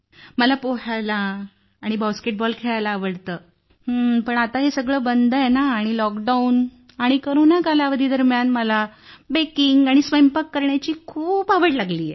मला पोहायला आणि बास्केटबॉल खेळायला आवडते परंतु आता हे सगळे बंद आहे आणि या लॉकडाउन आणि कोरोना कालावधी दरम्यान मला बेकिंग आणि स्वयंपाक करण्याची खूप आवड लागली आहे